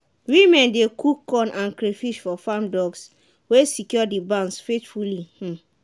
women dey cook corn and crayfish for farm dogs wey secure the barns faithfully. um